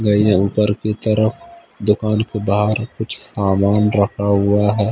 गई है ऊपर की तरफ दुकान के बाहर कुछ सामान रखा हुआ है।